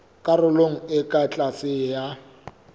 karolong e ka tlase ya